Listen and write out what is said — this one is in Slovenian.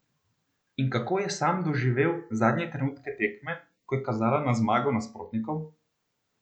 In kako je sam doživel zadnje trenutke tekme, ko je kazalo na zmago nasprotnikov?